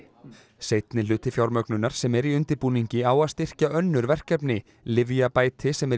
seinni hluti fjármögnunar sem er í undirbúningi á að styrkja önnur verkefni lyfjabæti sem er